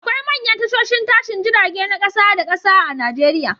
Akwai manyan tashoshin tashin jirage na kasa da kasa a Nijeriya